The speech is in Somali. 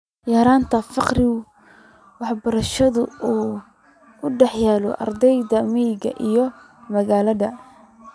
Yaraynta farqiga waxbarasho ee u dhexeeya ardayda miyiga iyo magaalada.